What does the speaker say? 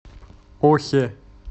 охе